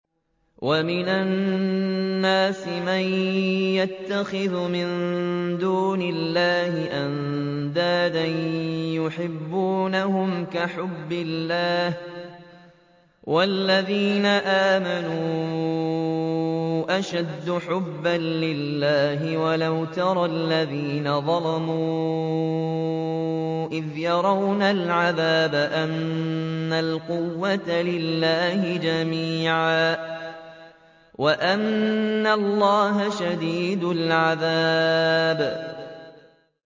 وَمِنَ النَّاسِ مَن يَتَّخِذُ مِن دُونِ اللَّهِ أَندَادًا يُحِبُّونَهُمْ كَحُبِّ اللَّهِ ۖ وَالَّذِينَ آمَنُوا أَشَدُّ حُبًّا لِّلَّهِ ۗ وَلَوْ يَرَى الَّذِينَ ظَلَمُوا إِذْ يَرَوْنَ الْعَذَابَ أَنَّ الْقُوَّةَ لِلَّهِ جَمِيعًا وَأَنَّ اللَّهَ شَدِيدُ الْعَذَابِ